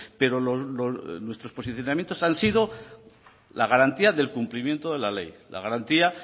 pero nuestros posicionamientos han sido la garantía del cumplimiento de la ley la garantía